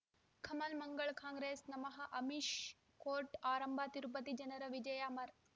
ಕಮಲ್ ಮಂಗಳ್ ಕಾಂಗ್ರೆಸ್ ನಮಃ ಅಮಿಷ್ ಕೋರ್ಟ್ ಆರಂಭ ತಿರುಪತಿ ಜನರ ವಿಜಯ ಅಮರ್